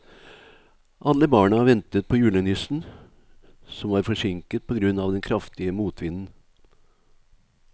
Alle barna ventet på julenissen, som var forsinket på grunn av den kraftige motvinden.